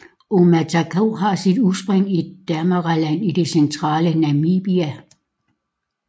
Omatako har sit udspring i Damaraland i det centrale Namibia